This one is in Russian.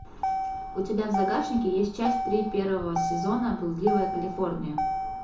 у тебя в загашнике есть часть три первого сезона блудливая калифорния